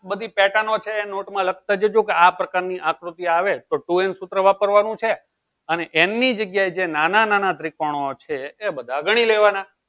બધી pattern નો છે એ નોટ માં લખતા જજો કે આ પ્રકાર ની આકૃતિ આવે તો ટુ n સુત્ર છે અને n ની જગ્યા જે નાના નાના ત્રીકોનો છે એ બધા ગની લેવાના